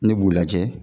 Ne b'u lajɛ